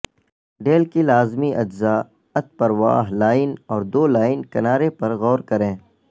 deal کے لازمی اجزاء اتپرواہ لائن اور دو لائن کنارے پر غور کریں